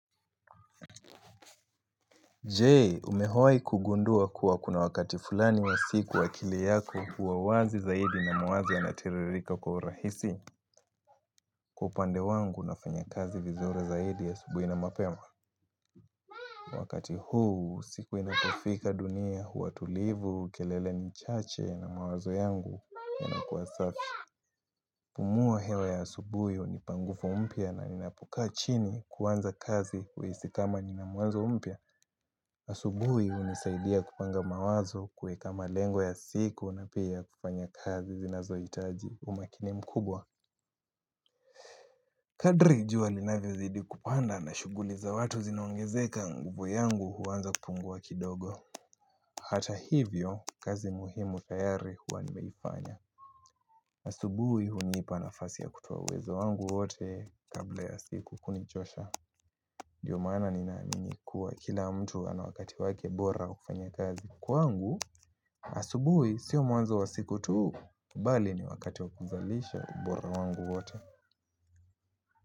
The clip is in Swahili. Je, umehoi kugundua kuwa kuna wakati fulani wa siku akili yako huwa wazi zaidi na mawazo yanatiririka kwa urahisi kwa upande wangu na fanya kazi vizuri zaidi asubuhi na mapema. Wakati huu, siku inapofika dunia, huatulivu, kelele ni chache na mawazo yangu yanakua safi. Kupumua hewa ya asubuhi hunipa nguvu mpya na ninapokaa chini kuanza kazi huhisi kama ninamwanzo mpya. Asubuhi hunisaidia kupanga mawazo kuweka malengo ya siku na pia kufanya kazi zinazohitaji umakini mkubwa. Kadri jua linavyozidi kupanda na shughuli za watu zinaongezeka nguvu yangu huanza kupungua kidogo. Hata hivyo, kazi muhimu tayari huwa nimeifanya asubuhi hunipa nafasi ya kutoa uwezo wangu wote kabla ya siku kunichosha Ndio maana ninaamini kuwa kila mtu ana wakati wake bora wa kufanya kazi kwangu Asubui, sio mwanzo wa siku tu, bali ni wakati wakuzalisha bora wangu wote.